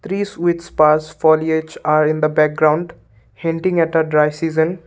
trees which password are at the background hanging at a dry season.